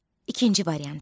İkinci variant.